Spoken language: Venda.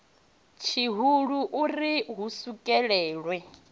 tshihulu u ri hu swikelelwe